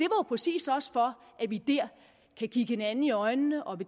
præcis også for at vi der kan kigge hinanden i øjnene og